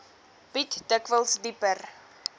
bied dikwels dieper